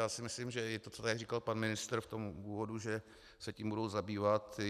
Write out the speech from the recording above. Já si myslím, že i to, co tady říkal pan ministr v tom úvodu, že se tím budou zabývat,